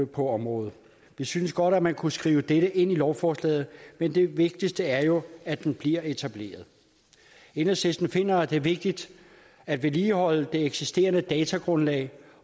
på området vi synes godt at man kunne skrive dette ind i lovforslaget men det vigtigste er jo at den bliver etableret enhedslisten finder det er vigtigt at vedligeholde det eksisterende datagrundlag